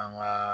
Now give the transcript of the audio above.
An ka